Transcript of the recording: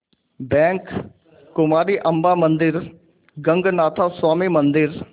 bank Kumari Amman मंदिर गगनाथा स्वामी मंदिर